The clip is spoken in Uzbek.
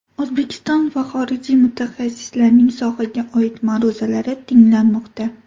O‘zbekiston va xorijiy mutaxassislarning sohaga oid ma’ruzalari tinglanmoqda.